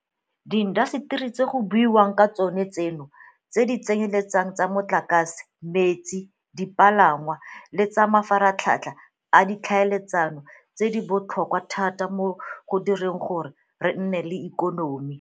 Diintaseteri tse go buiwang ka tsona tseno tse di tsenyeletsang tsa motlakase, metsi, dipalangwa le tsa mafaratlhatlha a ditlhaeletsano di botlhokwa thata mo go direng gore re nne le ikonomi.